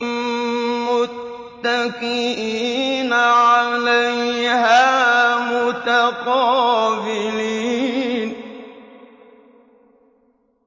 مُّتَّكِئِينَ عَلَيْهَا مُتَقَابِلِينَ